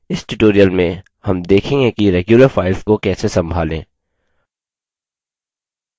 इस tutorial में हम देखेंगे कि regular files को कैसे संभालें